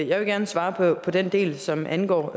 jeg vil gerne svare på den del som angår